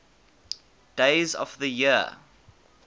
days of the year